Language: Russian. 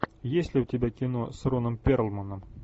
есть ли у тебя кино с роном перлманом